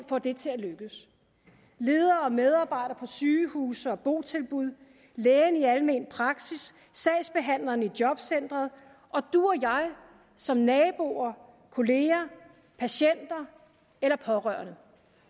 få det til at lykkes ledere og medarbejdere på sygehuse og i botilbud lægen i almen praksis sagsbehandleren i jobcenteret og du og jeg som naboer kolleger patienter eller pårørende